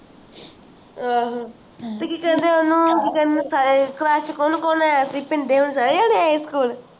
ਆਹ ਕਿ ਕਹਿੰਦੇ ਉਹਨੂੰ ਕਿ ਕਹਿੰਦੇ ਸਾਰੇ class ਚ ਕੋਣ-ਕੋਣ ਆਯਾ ਸੀ ਭਿੰਦੇ ਓਰੀ ਸਾਰੇ ਜਣੇ ਆਏ school